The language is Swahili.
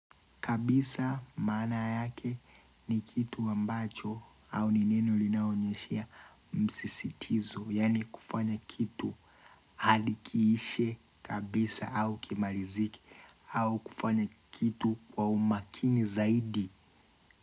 Kabisa maana yake ni kitu ambacho au ni neno linaonyeshea msisitizo. Yani kufanya kitu hadi kiishe kabisa au kimalizike. Au kufanya kitu kwa umakini zaidi.